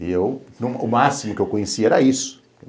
E eu, o máximo que eu conheci era isso.